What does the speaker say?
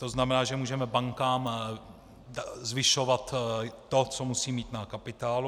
To znamená, že můžeme bankám zvyšovat to, co musí mít na kapitálu.